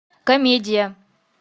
комедия